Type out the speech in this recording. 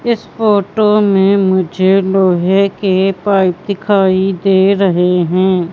इस फोटो में मुझे लोहे के पाईप दिखाई दे रहे हैं।